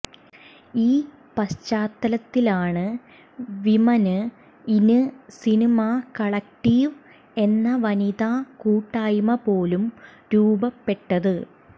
ഈ പശ്ചാത്തലത്തിലാണ് women in cinema collective എന്ന വനിതാ കൂട്ടായ്മ പോലും രൂപപ്പെട്ടതും